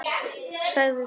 Þýð. Sig.